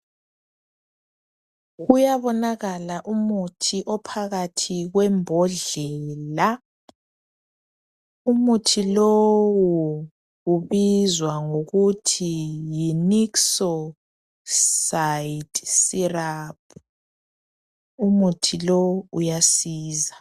Kuyabonakala umuthi phakathi kwembodlela ,umuthi lo ubizwa ngokuthi yi nikisosidi siraphu umuthi lo uyasiza.